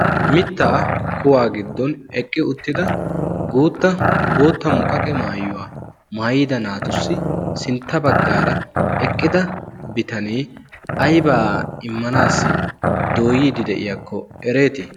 mittaa kuwaa giddon eqqi uttida guutta bootta muqaqe maayuwaa maayida naatussi sintta baggaara eqqida bitanee aibaa immanaassi dooyiiddi de7iyaakko ereetii?